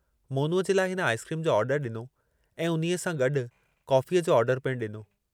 मोनूअ जे लाइ हिन आईसक्रीम जो आर्डर ॾिनो ऐं उन्हीअ सां गॾु काफ़ीअ जो आर्डर पिणु ॾिनो।